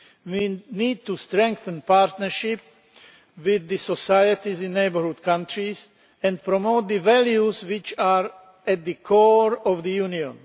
We need to strengthen partnership with the societies in neighbourhood countries and promote the values which are at the core of the Union.